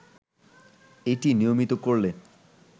এটি নিয়মিত করলে